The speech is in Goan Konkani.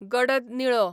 गडद निळो